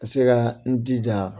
Ka se ka n jija